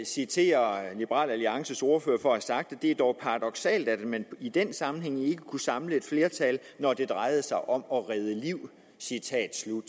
citere liberal alliances ordfører for at have sagt det er dog paradoksalt at man i den sammenhæng ikke kunne samle et flertal når det drejede sig om at redde liv citat slut